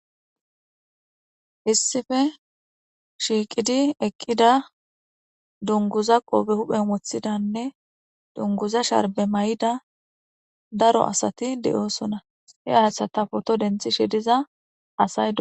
Issippe shiqqiddi eqqida duniguza qope huphphenni woththidanne duniguza sharibbe mayida daro asati de'osona hee asata photo deniththishshe diza